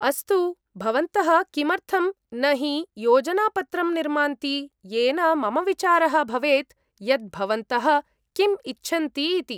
अस्तु, भवन्तः किमर्थं न हि योजनापत्रं निर्मान्ति येन मम विचारः भवेत् यत् भवन्तः किं इच्छन्ति इति।